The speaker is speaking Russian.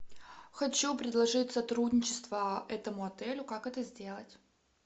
хочу предложить сотрудничество этому отелю как это сделать